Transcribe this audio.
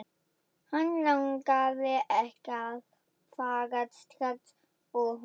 Hann langaði ekki að fara strax úr honum.